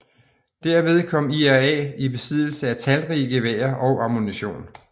Derved kom IRA i besiddelse af talrige geværer og ammunition